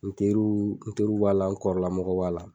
N teriw n teriw b'a la n kɔrɔlamɔgɔw b'a la